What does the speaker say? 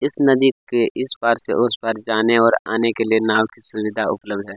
इस नदी के इस पार से उस पार जाने और आने के लिए नाव की सुविधा भी उपलब्ध है।